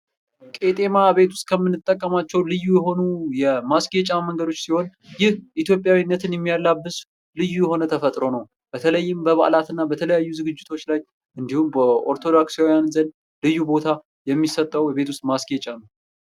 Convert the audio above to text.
ቂጤማ ቤት ውስጥ ከምንጠቀማቸው ልዩ የሆኑ የማስጫ መንገዶች ስህን ይህ ኢትዮጵያዊነትን የሚያብስ ልዩ የሆነ ተፈጥሮ ነው ።በተለይም በበዓላትና በተለያዩ ዝግጅቶች ላይ እንዲሁም በኦርቶዶክሳዊያን ዘንድ ልዩ ቦታ የሚሰጠው የቤት ውስጥ ማስጌጫ ነው ።